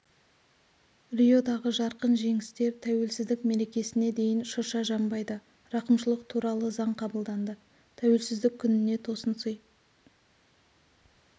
риодағы жарқын жеңістер тәуелсіздік мерекесіне дейін шырша жанбайды рақымшылық туралы заң қабылданды тәуелсіздік күніне тосын сый